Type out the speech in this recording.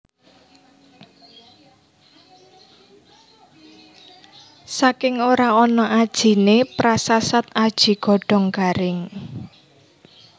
Saking ora ana ajiné prasasat aji godhong garing